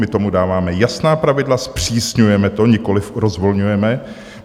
My tomu dáváme jasná pravidla, zpřísňujeme to, nikoliv rozvolňujeme.